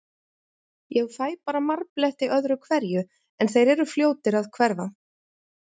Ég fæ bara marbletti öðru hverju, en þeir eru fljótir að hverfa.